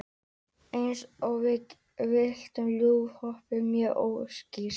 Eins og við vitum er lofthjúpurinn mjög ókyrr.